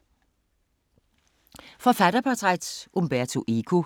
Forfatterportræt: Umberto Eco